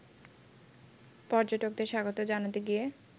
পর্যটকদের স্বাগত জানাতে গিয়ে